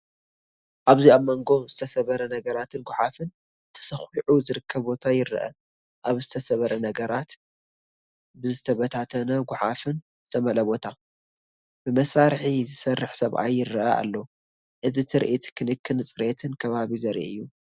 ኣብዚ ኣብ መንጎ ዝተሰብረ ነገራትን ጐሓፍን ተሰዂዑ ዝርከብ ቦታ ይርአ። ኣብዚ ዝተሰብረ ነገራት፡ ብዝተበታተኑ ጐሓፍን ዝተመልአ ቦታ፡ ብመሳርሒ ዝሰርሕ ሰብኣይ ይረአ ኣሎ። እዚትርኢት ክንክንን ጽሬትን ከባቢ ዘርኢ እዩ።